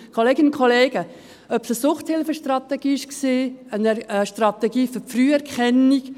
Kolleginnen und Kollegen, ob es eine Suchthilfestrategie war oder eine Strategie für die Früherkennung: